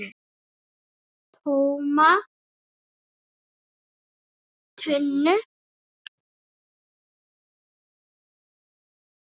TÓMA TUNNU!